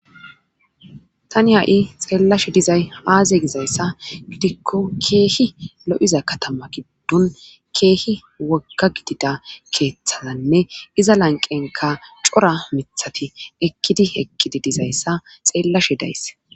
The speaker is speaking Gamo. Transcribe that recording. Tani ha7i xeellashe dizay aaze gizayssa gidikko keehi lo7iza katama giddun keehi woga gidida keeththananne iza lanqenka cora mithati ekkidi hekkidi dizayssa xeellashe days.